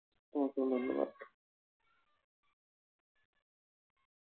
তোমাকেও ধন্যবাদ।